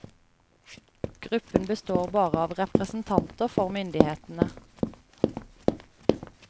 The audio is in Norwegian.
Gruppen består bare av representanter for myndighetene.